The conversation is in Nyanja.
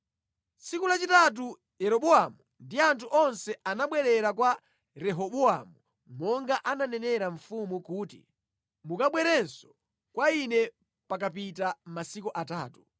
Tsiku lachitatu Yeroboamu ndi anthu onse anabwerera kwa Rehobowamu monga ananenera mfumu kuti, “Mukabwerenso kwa ine pakapita masiku atatu.”